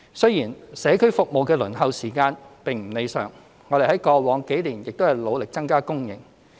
雖然社區照顧服務的輪候時間並不理想，但我們過往數年亦努力增加供應。